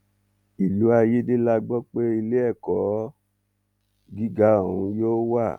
ìlú ayédè la gbọ pé iléẹkọ gíga ọhún yóò wà